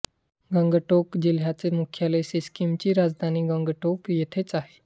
गंगटोक जिल्ह्याचे मुख्यालय सिक्कीमची राजधानी गंगटोक येथेच आहे